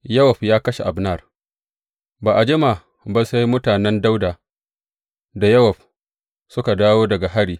Yowab ya kashe Abner Ba a jima ba sai mutanen Dawuda da Yowab suka dawo daga hari.